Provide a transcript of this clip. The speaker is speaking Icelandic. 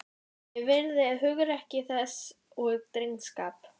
Ég virði hugrekki þess og drengskap.